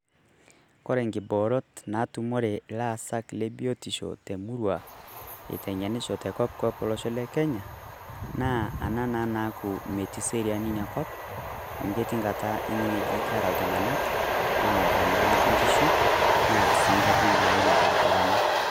Kore kiboorot naitumore llaasak le biotisho emurrua aiteng'enisho te kopkop tolosho le Kenya, naa anaa naa naaku metii seriani nyia kop amu ketii nkaata ning'i ajo keraa ltung'anak aoroo naa nkishuu neerr sii ng'arrin naiim lbarabarani.